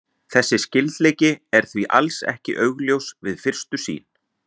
Þessi skyldleiki er því alls ekki augljós við fyrstu sýn.